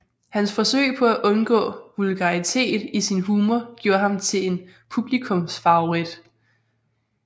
Hans forsøg på at undgå vulgaritet i sin humor gjorde ham til en publikumsfavorit